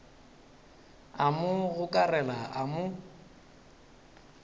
a mo gokarela a mo